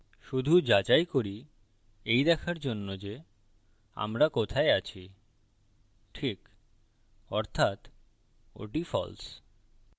শুধু যাচাই করি এই দেখার জন্য যে আমরা কোথায় আছিcheck অর্থাত ওটি false